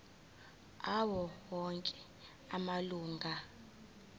awo onke amalunga